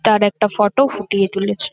তার একটা ফটো ফুটিয়ে তুলেছে।